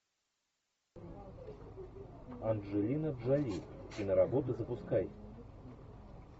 анджелина джоли киноработы запускай